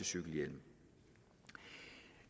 cykelhjelm